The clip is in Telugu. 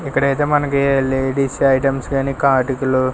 ఇక్కడైతే మనకి లేడీస్ ఐటమ్స్ గనీ కాటికులు--